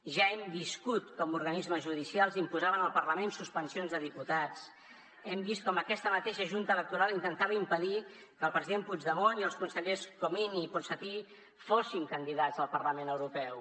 ja hem viscut com organismes judicials imposaven al parlament suspensions de diputats hem vist com aquesta mateixa junta electoral intentava impedir que el president puigdemont i els consellers comín i ponsatí fossin candidats al parlament europeu